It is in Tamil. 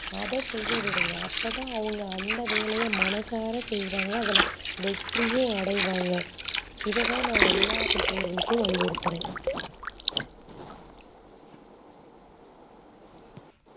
அதா செய்ய விடுங்க அப்போதா அவங்க அந்த வேலைய மனசார செய்வாங்க அதுல வெற்றியும் அடைவாங் இத தா நா எல்லா பெட்டோற்கலுக்கும் வலியுருத்துற